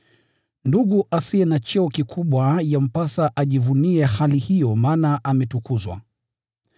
Ndugu asiye na cheo kikubwa yampasa ajivunie hali hiyo maana ametukuzwa.